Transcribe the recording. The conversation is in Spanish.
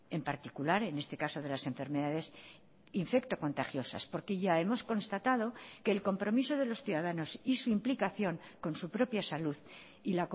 en particular en este caso de las enfermedades infectocontagiosas porque ya hemos constatado que el compromiso de los ciudadanos y su implicación con su propia salud y